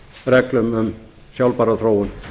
reglum um sjálfbæra þróun